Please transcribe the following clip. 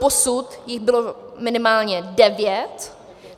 Doposud jich bylo minimálně devět.